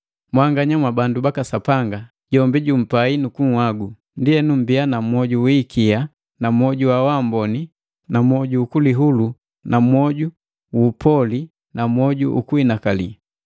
Mwanganya mwa bandu baka Sapanga, jombi jumpai nukunhagu. Ndienu, mmbiya na mwoju wi hikia na mwoju uamboni nu mwoju ukulihulu na mwoju gu upoli na mwoju ukuhinakali.